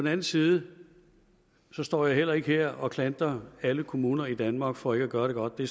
anden side står jeg heller ikke her og klandrer alle kommuner i danmark for ikke at gøre det godt det